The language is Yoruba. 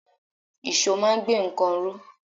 Ìṣó máa ń gbé nǹkan ró.